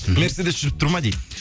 мерседес жүріп тұр ма дейді